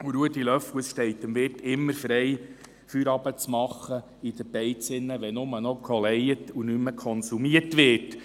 Zu Ruedi Löffel: Es steht dem Wirt immer frei, in der Beiz Feierabend zu machen, wenn nur noch gejohlt und nicht mehr konsumiert wird.